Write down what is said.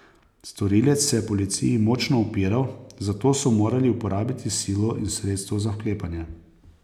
Storilec se je policiji močno upiral, zato so morali uporabiti silo in sredstva za vklepanje.